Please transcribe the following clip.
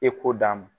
E k'o d'a ma